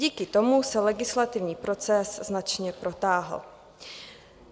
Díky tomu se legislativní proces značně protáhl.